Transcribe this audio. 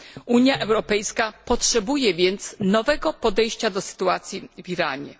Unia Europejska potrzebuje więc nowego podejścia do sytuacji w Iranie.